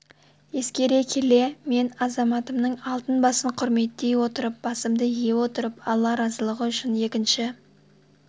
ескере келе мен азаматымның алтын басын құрметтей отырып басымды ие отырып алла разылыгы үшін екінші